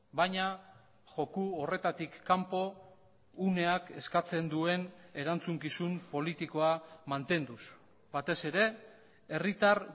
baina joko horretatik kanpo uneak eskatzen duen erantzukizun politikoa mantenduz batez ere herritar